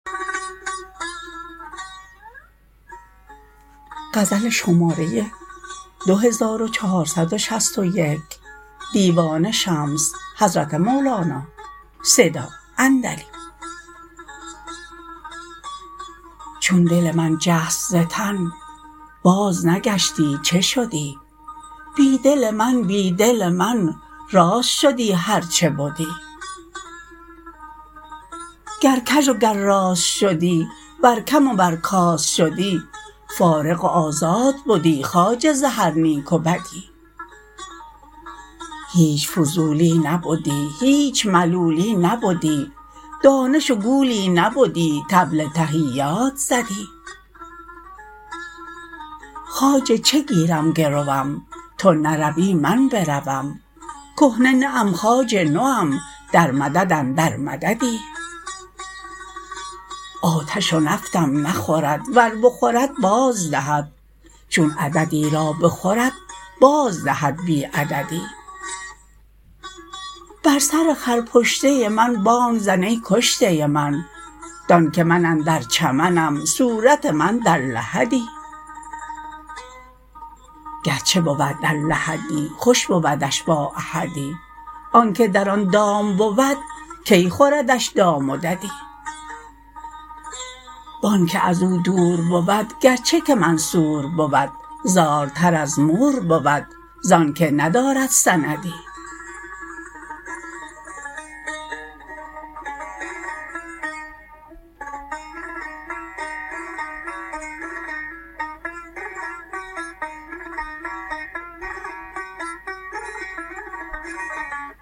چون دل من جست ز تن بازنگشتی چه شدی بی دل من بی دل من راست شدی هر چه بدی گر کژ و گر راست شدی ور کم ور کاست شدی فارغ و آزاد بدی خواجه ز هر نیک و بدی هیچ فضولی نبدی هیچ ملولی نبدی دانش و گولی نبدی طبل تحیات زدی خواجه چه گیری گروم تو نروی من بروم کهنه نه ام خواجه نوم در مدد اندر مددی آتش و نفتم نخورد ور بخورد بازدهد چون عددی را بخورد بازدهد بی عددی بر سر خرپشته من بانگ زن ای کشته من دانک من اندر چمنم صورت من در لحدی گرچه بود در لحدی خوش بودش با احدی آنک در آن دام بود کی خوردش دام و ددی و آنک از او دور بود گرچه که منصور بود زارتر از مور بود ز آنک ندارد سندی